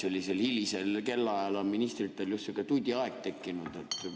Sellisel hilisel kellaajal on ministritel just sihuke tudiaeg tekkinud.